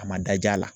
A ma daj'a la